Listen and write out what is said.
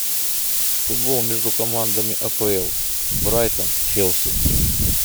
футбол между командами апл брайтон челси